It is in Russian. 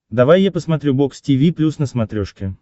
давай я посмотрю бокс тиви плюс на смотрешке